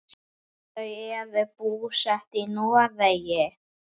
Þau eru búsett í Noregi.